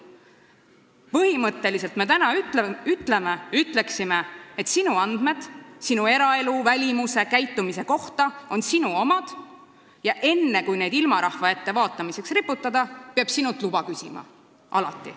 Põhimõtteliselt me oleks täna öelnud, et andmed sinu eraelu, välimuse ja käitumise kohta on sinu omad ja enne, kui need ilmarahva ette vaatamiseks riputada, peab sinult alati luba küsima.